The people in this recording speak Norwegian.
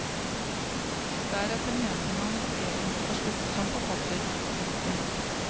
Deretter mente han egentlig å slutte som forfatter. punktum